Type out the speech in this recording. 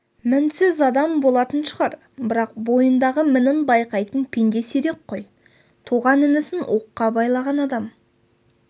мінсіз адам болатын шығар бірақ бойындағы мінін байқайтын пенде сирек қой туған інісін оққа байлаған адам